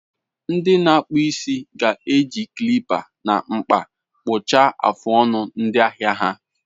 Ndị na-akpụ isi ga-eji clippers na mkpa kpụchaa afụ ọnụ ndị ahịa ha.